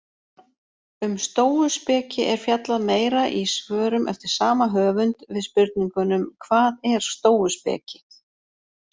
Um stóuspeki er fjallað meira í svörum eftir sama höfund við spurningunum Hvað er stóuspeki?